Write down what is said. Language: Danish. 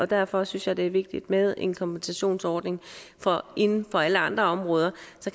derfor synes jeg det er vigtigt med en kompensationsordning for inden for alle andre områder